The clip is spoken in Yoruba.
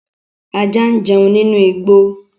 Ajá ń jẹun nínú igbó